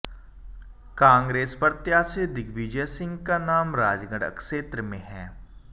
कांग्रेस प्रत्याशी दिग्विजय सिंह का नाम राजगढ़ क्षेत्र में है